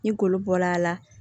Ni golo bɔra a la